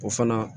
O fana